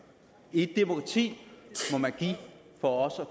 i et demokrati må man give for også